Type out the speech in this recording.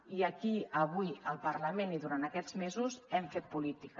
i aquí avui al parlament i durant aquests mesos hem fet política